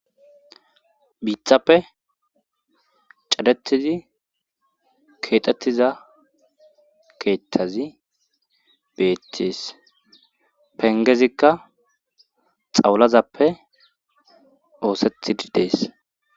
biithappe cadettizi keexettiza keethtazi beettees pengezikka xawulazappe oosetidi dees